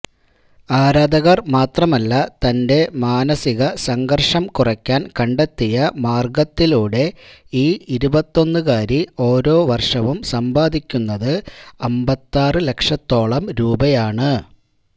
ആരാധകർമാത്രമല്ല തന്റെ മാനസിക സംഘർഷം കുറയ്ക്കാൻ കണ്ടെത്തിയ മാർഗത്തിലൂടെ ഈ ഇരുപത്തിയൊന്ന്കാരി ഓരോ വര്ഷവും സമ്പാദിക്കുന്നത് അമ്പത്തിയാറ് ലക്ഷത്തോളം രൂപയാണ്